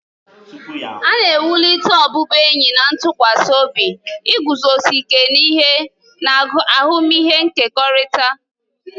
A na-ewulite ọbụbụenyi na ntụkwasị obi, iguzosi ike n'ihe, na ahụmịhe nkekọrịta.